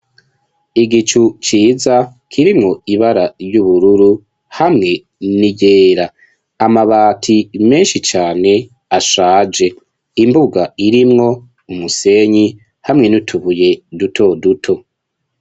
Igicu ciza, kirimwo ibara ry'ubururu, hamwe n'iryera; amabati menshi cane, ashaje; imbuga, irimwo umusenyi, hamwe n'utubuye, duto duto.